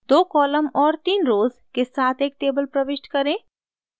2 columns और 3 rows के साथ एक table प्रविष्ट करें